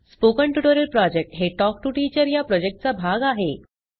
spoken tutorial project हे talk to teacher या प्रॉजेक्टचा भाग आहे